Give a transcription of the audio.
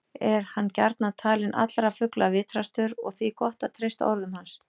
Er hann gjarnan talinn allra fugla vitrastur og því gott að treysta orðum hans.